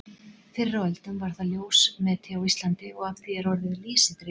Fyrr á öldum var það ljósmeti á Íslandi og af því er orðið lýsi dregið.